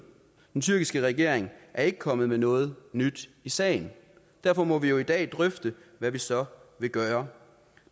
den tyrkiske regering er ikke kommet med noget nyt i sagen derfor må vi jo i dag drøfte hvad vi så vil gøre